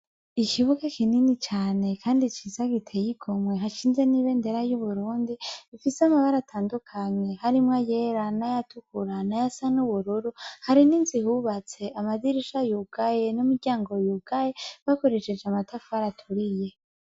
Ikibuga kinini cane kandi ciza giteye igomwe, hashinze n'ibendera y'Uburundi ifise amabara atandukanye harimwo ayera, n'ayatukura ,n'ayasa n'ubururu ,hari n'inzu ihubatse amadirisha yugaye n'imiryango yugaye, bakoresheje amatafari aturiye.